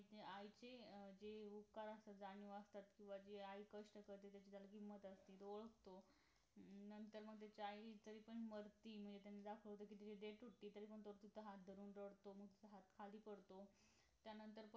आईचे जे उपकार असतात जाणीव असतात किंवा जे आई कष्ट करते त्याची जरा किंमत असते डोळे पुसतो नंतर मग त्याच्या आई तरी पण मरते म्हणजे त्यांनी ते दाखवलाय कि तू तुझे हात धरून रडतो मग खाली पडतो त्यानंतर